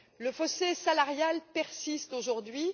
Le fossé salarial persiste aujourd'hui.